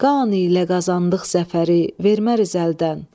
Qan ilə qazandıq zəfəri, verməriz əldən.